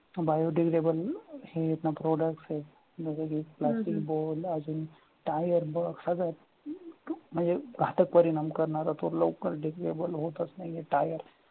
biodegdable हे ना products आहे plastic bulb अजून tire bulb म्हणजे घातक परिणाम करणारा तो लवकर degdable होतच नाहीये tire